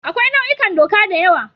Akwai nau'ikan doka da yawa.